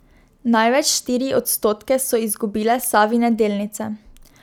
Največ, štiri odstotke, so izgubile Savine delnice.